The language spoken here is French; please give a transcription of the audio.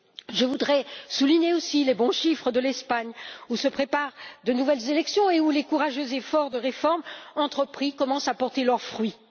Je voudrais souligner aussi les bons chiffres de l'Espagne où se préparent de nouvelles élections et où les courageux efforts de réforme entrepris commencent à porter leurs fruits.